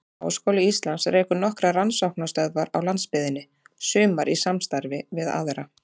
Háskóli Íslands rekur nokkrar rannsóknastöðvar á landsbyggðinni, sumar í samstarfi við aðra.